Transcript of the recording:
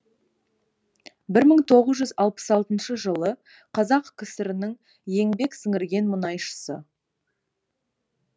бір мың тоғыз жүз алпыс алтыншы жылы қазақ кср інің еңбек сіңірген мұнайшысы